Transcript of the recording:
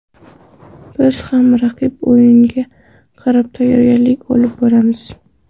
Biz ham raqib o‘yiniga qarab tayyorgarlik olib boramiz.